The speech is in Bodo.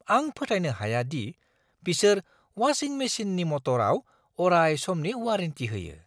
आं फोथायनो हाया दि बिसोर वाशिं मेसिननि मटराव अराय समनि वारेन्टि होयो!